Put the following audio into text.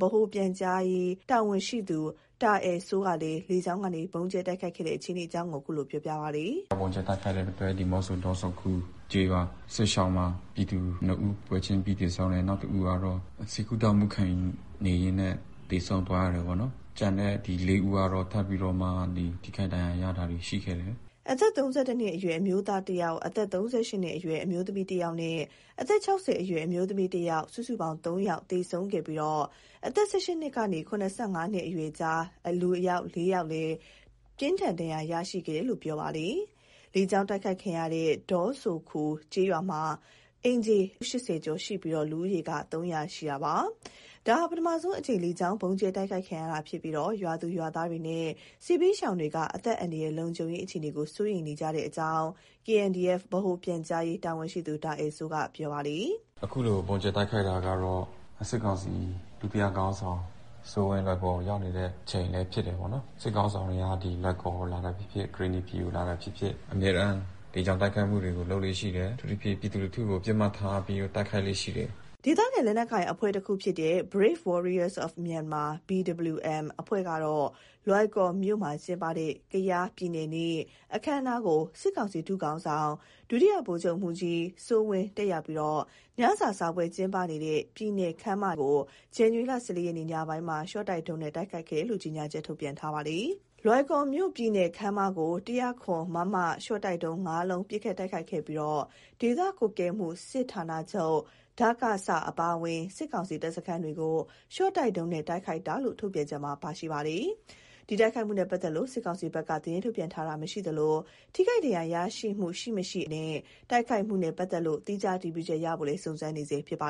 ဗဟိုပြန်ကြားရေးတာဝန်ရှိသူ တာအယ်စိုးကလည်း လေကြောင်းကနေ ဗုံးကြဲတိုက်ခိုက်ခဲ့တဲ့ အခြေအနေကို အခုလို ပြောပြပါတယ်။ “ဗုံးကြဲတိုက်ခိုက်တဲ့အတွက် ဒီးမော့ဆို ဒေါဆိုခူကျေးရွာမှာ ပြည်သူ ၂ ဦးပွဲချင်းပြီ သေဆုံးတယ် နောက် ၁ဦးကတော့ ဆေးကုသမှုခံယူနေရင်းနဲ့ သေဆုံးသွားတယ်ပေါ့နော်။ ကျန်တဲ့ ဒီ ၄ဦးကတော့ ထပ်မံပြီးတော့ ထိခိုက်ဒဏ်ရာရတာရှိတယ်။” အသက် ၃၁ နှစ်အရွယ် အမျိုးသား ၁ဦး၊ အသက် ၃၈ နှစ်အရွယ်အမျိုးသမီး ၁ဦးနဲ့ အသက် အရွယ်အမျိုးသမီး ၁ဦး စုစုပေါင်း ၃ ဦးသေဆုံးခဲ့ပြီး အသက် ၁၈ နှစ်ကနေ ၇၅ နှစ်အရွယ်ကြား ၄ဦး ပြင်းထန်ဒဏ်ရာရရှိခဲ့တယ်လို့လည်း ပြောပြပါတယ်။ လေကြောင်း တိုက်ခိုက်ခံရတဲ့ ဒေါဆိုခူကျေးရွာမှာ အိမ်ခြေ ၈၀ ကျော်ရှိပြီး လူဦးရေ ၃၀၀ ရှိပါတယ်။ ဒါဟာ ပထမဆုံးအကြိမ် လေကြောင်းဗုံးကြဲတိုက်ခိုက်ခံရတာဖြစ်ပြီး ရွာသူရွာသားနဲ့ စစ်ဘေးရှောင်တွေက အသက်အန္တရာယ် လုံခြုံရေးအခြေအနေ စိုးရိမ်နေကြတဲ့အကြောင်း ဗဟိုပြန်ကြားရေးတာဝန်ရှိသူ တာအယ်စိုးက ပြောပါတယ်။ “အခုလို ဗုံးကြဲတိုက်ခိုက်တာကတော့ စစ်ကောင်စီ ဒုတိယစစ်ခေါင်းဆောင်စိုးဝင်း လွိုင်ကော်ကို ရောက်နေတဲ့ အချိန်လည်း ဖြစ်တယ်ပေါ့နော်၊ စစ်ခေါင်းဆောင်က လွိုင်ကော်ကို လာတာဖြစ်ဖြစ် ကရင်နီပြည်ကို လာတာဖြစ်ဖြစ် အမြဲတမ်းလေကြောင်းတိုက်ခိုက်မှုတွေ လုပ်လေ့ရှိတယ်၊ အထူးသဖြင့် ပြည်သူလူထုကို ပစ်မှတ်ထားပြီးတော့ တိုက်ခိုက်လေ့ရှိတယ်။” ဒေသခံ လက်နက်ကိုင်အဖွဲ့တခုဖြစ်တဲ့ Brave Warriors for Myanmar အဖွဲ့ကတော့ လွိုင်ကော်မြို့မှာ ကျင်းပတဲ့ ကယားပြည်နယ်နေ့ အခမ်းအနားကို စစ်ကောင်စီ ဒုခေါင်းဆောင် ဒုတိယဗိုလ်ချုပ်မှူးကြီး စိုးဝင်း တက်ရောက်ပြီး ညစာစားပွဲကျင်းပနေတဲ့ ပြည်နယ်ခန်းမထဲကို ဇန်နဝါရီလ ၁၄ ရက် ညပိုင်းမှာ ရှော့တိုက်ဒုံးနဲ့ တိုက်ခိုက်ခဲ့တယ်လို့ ကြေညာချက် ထုတ်ပြန်ထားပါတယ်။ လွိုင်ကော်မြို့ပြည်နယ်ခန်းမကို ၁၀၇ မမ ရှော့တိုက်ဒုံး ၅ လုံး ပစ်ခတ်တိုက်ခိုက်ခဲ့ပြီး ဒေသကွပ်ကဲမှုစစ်ဌာနချုပ်-ဒကစ အပါအဝင်း စစ်ကောင်စီတပ်စခန်းတွေကို ရှော့တိုက်ဒုံးနဲ့ တိုက်ခိုက်တာလို့ ထုတ်ပြန်ချက်မှာ ပါရှိပါတယ်။ ဒီတိုက်ခိုက်မှုနဲ့ ပတ်သက်လို့ စစ်ကောင်စီဘက်က သတင်းထုတ်ပြန်တာ မရှိသလို၊ ထိခိုက်ဒဏ်ရာရရှိမှု ရှိမရှိ အနေအထားတွေနဲ့ တိုက်ခိုက်မှုနဲ့ ပတ်သက်လို့ သီးခြားအတည်ပြုချက်ရဖို့ စုံစမ်းနေဆဲဖြစ်ပါ